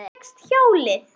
Þú fékkst hjólið!